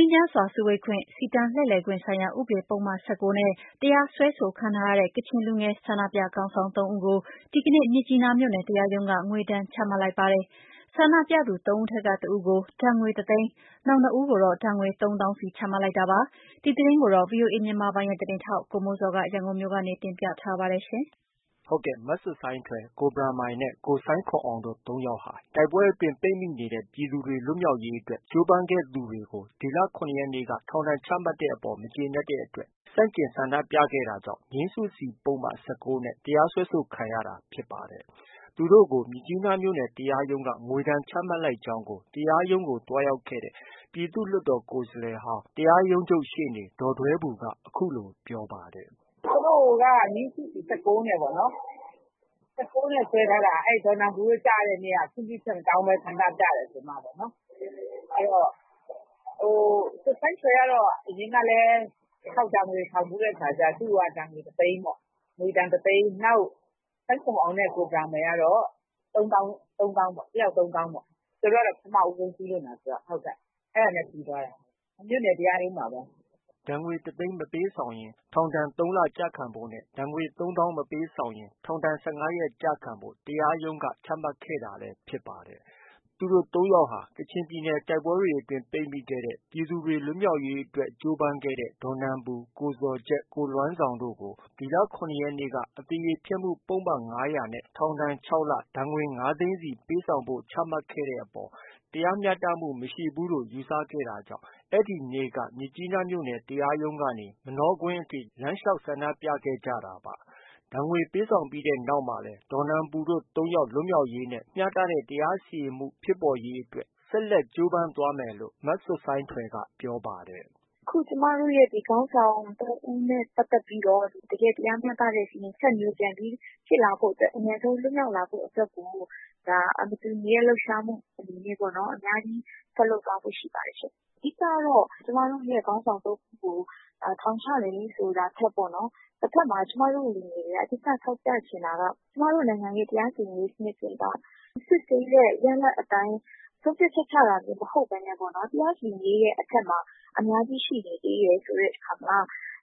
မ်းချမ်းစွာ စုဝေးခွင့်၊ စီတန်းလှည့်လည်ခွင့် ဆိုင်ရာ ဥပဒေ ပုဒ်မ ၁၉ နဲ့ တရားစွဲဆိုခံထားရတဲ့ ကချင်လူငယ် ဆန္ဒပြခေါင်းဆောင် ၃ ဦးကို ဒီကနေ့ မြစ်ကြီးနားမြို့နယ် တရားရုံးက ငွေဒဏ်ချမှတ်လိုက်ပါတယ်။ ဆန္ဒပြသူ ၃ ဦးထဲက တဦးကို ဒဏ်ငွေ တစ်သိန်း၊ နောက်နှစ်ဦးကို ဒဏ်ငွေ သုံးသောင်းစီ ချမှတ်လိုက်တာပါ။ ဒီသတင်းကိုတော့ ဗွီအိုအေမြန်မာပိုင်းရဲ့သတင်းထောက် ကိုမိုးဇော်က တင်ပြထားပါတယ်။ မဆွတ်ဆိုင်းထွယ်၊ ကိုဘရန်မိုင်းနဲ့ ကိုဆိုင်းခွမ်အောင်တို့ ၃ ယောက်ဟာ တိုက်ပွဲအတွင်း ပိတ်မိနေတဲ့ ပြည်သူတွေ လွတ်မြောက်ရေးအတွက် ကြိုးပမ်းခဲ့သူတွေကို ဒီလ ၇ ရက်နေ့က ထောင်ဒဏ် ချမှတ်တဲ့အပေါ် မကျေနပ်တဲ့အတွက် ဆန့်ကျင်ဆန္ဒပြခဲ့တာကြောင့် ငြိမ်းစုစီပုဒ်မ ၁၉ နဲ့ တရားစွဲဆိုခံခဲ့ရတာဖြစ်ပါတယ်။ သူတို့ကို မြစ်ကြီးနားမြို့နယ်တရားရုံးက ငွေဒဏ်ချမှတ်လိုက်ကြောင်းကို တရားရုံးကို သွားရောက်ခဲ့တဲ့ ပြည်သူ့လွှတ်တော်ကိုယ်စားလှယ်ဟောင်း တရားရုံးချုပ်ရှေ့နေ ဒေါ်ဒွဲဘူက အခုလို ပြောပါတယ်။ “ သူတို့က ငြိမ်းစုစီ ၁၉နဲ့ပေါ့နော်။ ၁၉နဲ့စွဲထားတာ။ ဒေါ်နန်ပူတို့ ကျတဲ့နေ့က ခွင့်ပြုချက် မတောင်းဘဲ ဆန္ဒပြတယ်ဆိုပြီးမှ။ ဆွတ်ဆိုင်းထွယ်ကတော့ အရင်ကလည်း တစ်ခေါက် ဒဏ်ငွေဆောင်ဘူးတဲ့အခါကျတော့ သူ့ကိုကတော့ ဒဏ်ငွေ တစ်သိန်းပေါ့။ ငွေဒဏ်တစ်သိန်း၊ နောက် ဆိုင်းခွမ်အောင်နဲ့ ကိုဘရန်မိုင်ကတော့ သုံးသောင်းပေါ့။ တစ်ယောက် သုံးသောင်းပေါ့။ သူတို့ကတော့ ပထမဦးဆုံးကျူးလွန်တာဆိုတော့။ အဲဒါနဲ့ ပြီးသွားတယ်၊ မြို့နယ် တရားရုံးမှာပဲ။” ဒဏ်ငွေ တစ်သိန်းမပေးဆောင်ရင် ထောင်ဒဏ် ၃ လ ကျခံဖို့နဲ့ ဒဏ်ငွေ သုံးသောင်းမပေးဆောင်ရင် ထောင်ဒဏ် ၁၅ ရက်ကျခံဖို့ တရားရုံးက ချမှတ်ခဲ့တာလည်း ဖြစ်ပါတယ်။ သူတို့ ၃ ယောက်ဟာ ကချင်ပြည်နယ်တိုက်ပွဲတွေအတွင်း ပိတ်မိခဲ့တဲ့ ပြည်သူတွေ လွတ်မြောက်ရေးအတွက် ကြိုးပမ်းခဲ့တဲ့ ဒေါ်နန်ပူ၊ ကိုဇော်ဂျက်၊ ကိုလွမ်းဇောင်းတို့ကိုဒီလ ၇ ရက်နေ့က အသရေဖျက်မှုပုဒ်မ ၅၀၀ နဲ့ ထောင်ဒဏ် ၆ လနဲ့ ဒဏ်ငွေ ၅ သိန်းစီပေးဆောင်ဖို့ ချမှတ်ခဲ့တဲ့အပေါ် တရားမျှတမှုမရှိဘူးလို့ ယူဆခဲ့တာ ကြောင့် အဲဒီနေ့ကပဲ မြစ်ကြီးနားမြို့နယ် တရားရုံးကနေ မနောကွင်းအထိ လမ်းလျှောက်ဆန္ဒပြခဲ့ကြတာပါ။ ငွေဒဏ်ပေးဆောင်ပြီးနောက်မှာလည်း ဒေါ်နန်ပူတို့ ၃ ယောက်လွတ်မြောက်ရေးနဲ့ မျှတတဲ့ တရားစီရင်မှုစနစ် ဖြစ်ပေါ်ရေးအတွက် ဆက်လက် ကြိုးပမ်းသွားမယ်လို့ မဆွတ်ဆိုင်းထွယ်က ပြောပါတယ်။ “ အခုဒီ ကျမတို့ရဲ့ ခေါင်းဆောင် ၃ဦးနဲ့ပတ်သက်ပြီးတော့ တကယ့် တရားမျှတဲ့ စီရင်ချက်မျိုး ပြန်ပြီးဖြစ်လာဖို့အတွက်၊ အမြန်ဆုံးပြန်ပြီးလွတ်မြောက်လာဖို့အတွက်ကို မတူညီတဲ့ လှုပ်ရှားမှုတွေနဲ့ အများကြီး ဆက်လုပ်သွားဖို့ ရှိပါတယ်ရှင့်။ အဓိကကတော့ ကျမတို့ရဲ့ ခေါင်းဆောင် ၃ဦးကို ထောင်ချတယ်ဆိုတာထက်ပေါ့နော် တဖက်မှာ ကျမတို့ လူငယ်တွေက အဓိက ထောက်ပြချင်တာက ကျမတို့နိုင်ငံရဲ့ တရားစီရင်ရေးစနစ်တွေက စစ်ဆေးတဲ့ ရလဒ်အတိုင်း ဆုံးဖြတ်ချက် ချတာမျိုး မဟုတ်ဘဲနဲ့ပေါ့နော်။ တရားစီရင်ရေးရဲ့အထက်မှာ အများကြီး ရှိနေသေးတယ်ဆိုတဲ့အခါမှာ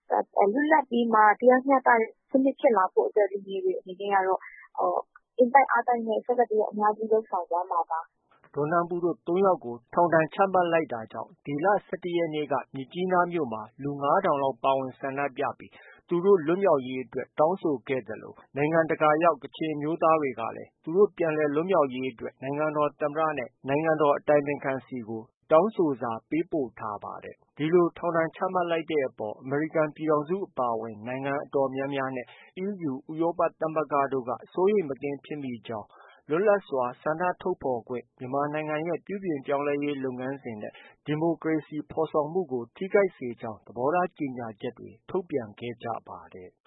လွတ်လပ်ပြီးမှ တရားမျှတတဲ့ စနစ်ဖြစ်လာဖို့အတွက် လူငယ်တွေအနေနဲ့ကတော့ အင်တိုက်အားတိုက်နဲ့ အများကြီး ဆက်လက် လုပ်ဆောင်သွားမှာပါ။” ဒေါ်နန်ပူတို့ ၃ ယောက်ကို ထောင်ဒဏ်ချမှတ်လိုက်တာကြောင့် ဒီလ ၁၁ ရက်နေ့က မြစ်ကြီးနားမြို့ မှာ လူ ၅ ထောင်လောက် ပါဝင်ဆန္ဒပြပြီး သူတို့ လွတ်မြောက်ရေးအတွက် တောင်းဆိုခဲ့သလို နိုင်ငံတကာရောက် ကချင်အမျိုးသားတွေကလည်း သူတို့ ပြန်လွှတ်ပေးရေးအတွက် နိုင်ငံတော်သမ္မတနဲ့ နိုင်ငံတော်အတိုင်ပင်ခံဆီကို တောင်းဆိုစာပေးပို့ထားပါတယ်။ ဒီလို ထောင်ဒဏ်ချမှတ်တဲ့အပေါ် အမေရိကန်ပြည်ထောင်စုအပါအဝင် နိုင်ငံအတော်များများနဲ့ EU ဥရောပသမဂ္ဂတို့ကပါ စိုးရိမ်မကင်းဖြစ်မိကြောင်း၊ လွတ်လပ်စွာဆန္ဒထုတ်ဖော်ခွင့်၊ မြန်မာနိုင်ငံရဲ့ ပြုပြင်ပြောင်းလဲရေးလုပ်ငန်းစဉ်နဲ့ဒီမိုကရေစီဖော်ဆောင်မှုကို ထိခိုက်စေကြောင်း သဘောထားကြေညာချက်တွေ ထုတ်ပြန်ခဲ့ကြပါတယ်။